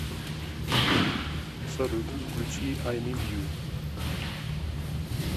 салют включи ай нид ю